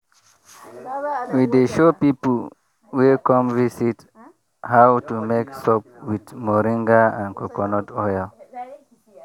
we dey show people wey come visit how to make soap with moringa and coconut oil.